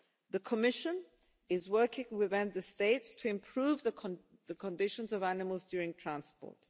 The Commission is working with Member States to improve the conditions of animals during transport.